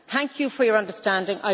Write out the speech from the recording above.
Thank you for your understanding.